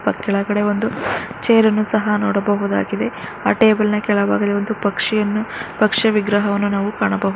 ಕೆಳಗಡೆ ಒಂದು ಚೇರ್ ಅನ್ನು ಸಹ ನೋಡಬಹುದಾಗಿದೆ ಆಹ್ ಟೇಬಲ್ ಕೆಳ ಭಾಗದಲ್ಲಿ ಒಂದು ಪಕ್ಷಿಯನ್ನು ಪಕ್ಷಿಯ ವಿಗ್ರಹವನ್ನು ನಾವು ಕಾಣಬಹು --